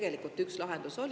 Tegelikult üks lahendus oli …